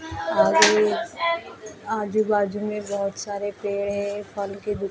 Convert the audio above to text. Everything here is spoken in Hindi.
अभी आजू बाजू मे बहुत सारे पेड़ हैं फल के दुकान--